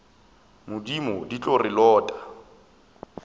modimo di tlo re lota